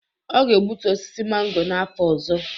Ọ ga-egbutu osisi mango n'afọ ọzọ